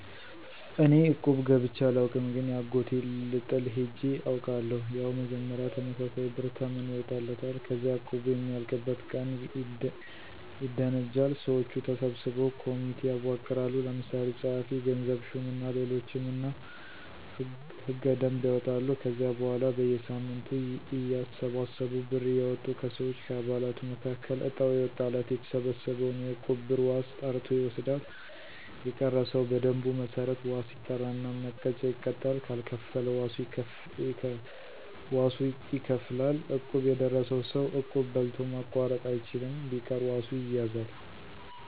እኔ እቁብ ገብቸ አላውቅም ግን የአጎቴን ልጥል ሄጀ አውቃለሁ። ያው መጀመሪያ ተመሳሳይ ብር ተመን ይወጣለታል። ከዚያ እቁቡ የሚያልቅበት ቀን ይደነጃል። ሰወቹ ተሰብስበው ኮሚቴ ያዋቅራሉ። ለምሳሌ ጸሀፊ፣ ገንዘብ ሹም እና ሌሎችም እና ሕገ - ደንብ ያወጣሉ። ከዚያ በኋላ በየሳምንቱ እያተሰበሰቡ ብር እያወጡ ከሰወች(ከአባላቱ)መካከል እጣው የወጣለት የተሰበሰበውን የእቁብ ብር ዋስ ጠርቶ ይወስዳል። የቀረ ሰው በደንቡ መሠረት ዋስ ይጠራና መቀጫ ይቀጣል ካልከፈለ ዋሱ ይከፍላል። እቁብ የደረሰው ሰው እቁብ በልቶ ማቋረጥ አይችልም። ቢቀር ዋሱ ይያዛል።